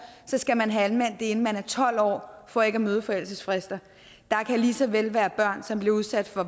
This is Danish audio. så skal man have anmeldt det inden man er tolv år for ikke at møde forældelsesfrister der kan lige så vel være børn som bliver udsat for